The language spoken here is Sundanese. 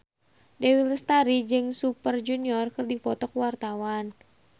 Dewi Lestari jeung Super Junior keur dipoto ku wartawan